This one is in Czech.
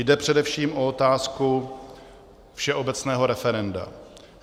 Jde především o otázku všeobecného referenda.